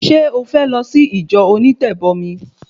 Ṣé o fẹ́ lọ sí ìjọ onítẹ̀bọmi?